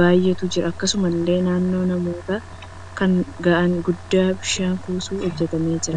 baay'eetu jiru. Akkasumallee naannoo namoota kanaa gaanii guddaan bishaan kuusu hojjetamee jira.